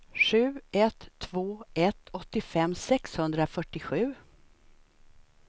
sju ett två ett åttiofem sexhundrafyrtiosju